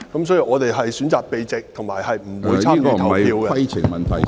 所以，我們選擇避席，以及不會參與投票。